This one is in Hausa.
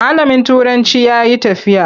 Malamin turancin ya yi tafiya.